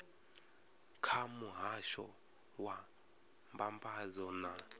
kha muhasho wa mbambadzo na